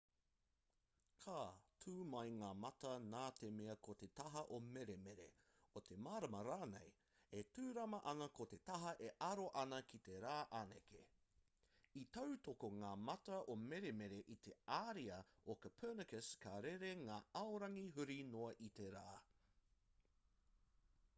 ka tū mai ngā mata nā te mea ko te taha o meremere o te marama rānei e tūrama ana ko te taha e aro ana ki te rā anake. i tautoko ngā mata o meremere i te ariā o copernicus ka rere ngā aorangi huri noa i te rā